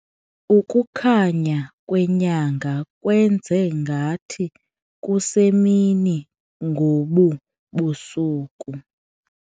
Ukukhanya kwenyanga kwenze ngathi kusemini ngobu busuku.